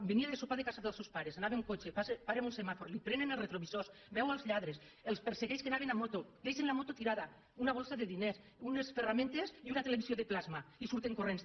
venia de sopar de casa dels seus pares anava en cotxe para en un semàfor li prenen els retrovisors veu els lladres els persegueix que anaven en moto deixen la moto tirada una bossa de diners unes ferramentes i una televisió de plasma i surten corrents